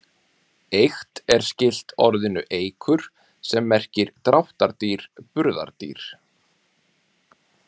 Eykt er skylt orðinu eykur sem merkir dráttardýr, burðardýr.